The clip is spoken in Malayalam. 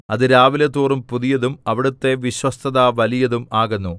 അത് രാവിലെതോറും പുതിയതും അവിടുത്തെ വിശ്വസ്തത വലിയതും ആകുന്നു